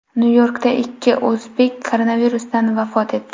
Nyu-Yorkda ikki o‘zbek koronavirusdan vafot etdi.